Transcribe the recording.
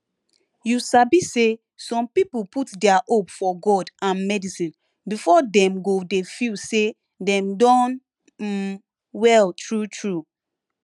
you sabi say some people put dia hope for god and medicine before dem go dey feel say dem don um well true true